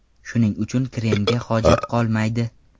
Shuning uchun kremga hojat qolmaydi.